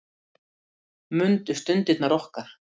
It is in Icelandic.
Mundu stundirnar okkar.